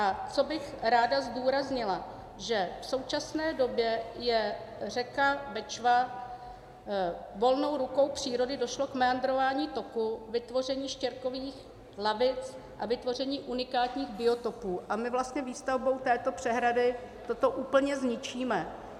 A co bych rád zdůraznila, že v současné době je řeka Bečva - volnou rukou přírody došlo k meandrování toku, vytvoření štěrkových lavic a vytvoření unikátních biotopů, a my vlastně výstavbou této přehrady toto úplně zničíme.